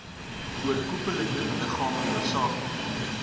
oorkoepelende liggame hoofsaaklik